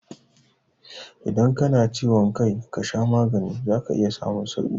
Idan ka na ciwon kai ka sha magani za ka iya samun sauƙi